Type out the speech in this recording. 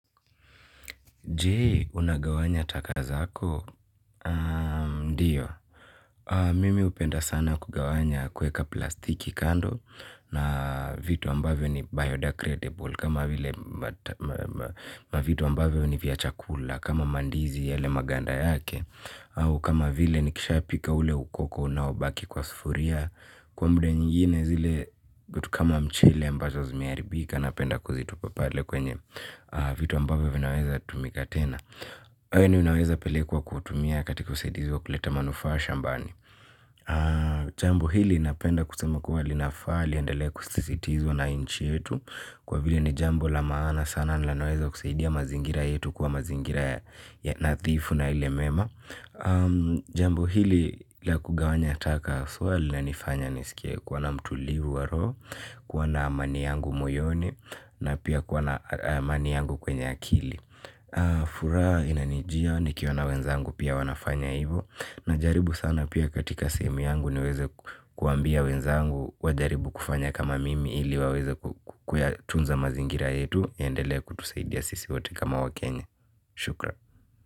Jee, unagawanya taka zako? Ndiyo, mimi hupenda sana kugawanya kueka plastiki kando na vitu ambavyo ni biodegredable kama vile mavitu ambavyo ni viachakula kama mandizi yele maganda yake ama kama vile nikishapika ule ukoko unaobaki kwa sufuria kwa mda nyingine zile vitu kama mchele ambazo zimeharibika napenda kuzitupa pale kwenye vitu ambavyo vinaweza tumika tena. We ni unaweza pelekwa kutumia katika usaidizi wa kuleta manufaa shambani jambo hili napenda kusema kuwa linafaa liendelee kusisitizwa na nchi yetu kwa vile ni jambo la maana sana linaweza kusaidia mazingira yetu mazingira nadhifu na ile mema. Jambo hili la kugawanya ataka haswa lina nifanya nisikie kuwana mtulivu wa roho. Kuwana amani yangu moyoni na pia ku wana amani yangu kwenye akili. Furaha inanijia ni kiona wenzangu pia wanafanya hivo. Najaribu sana pia katika sehemu yangu niweze kuambia wenzangu. Wajaribu kufanya kama mimi ili waweze kukuya tunza mazingira yetu yaendele kutusaidia sisi wote kama wakenya. Shukran.